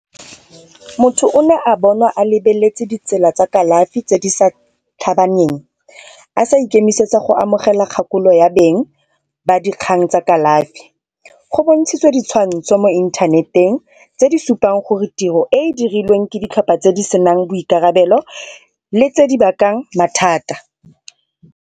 Motho o ne a bonwa a lebeletse ditsela tsa kalafi tse di sa a sa ikemisetsa go amogela kgakololo ya beng ba dikgang tsa kalafi. Go bontshitswe ditshwantsho mo inthaneteng tse di supang gore tiro e e dirilweng ke ditlhopha tse di senang boikarabelo le tse di bakang mathata.